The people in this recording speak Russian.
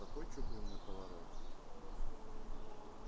какой чугунный поворот ха